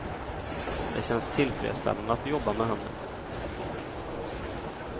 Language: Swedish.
Det känns tillfredsställande att jobba med händerna.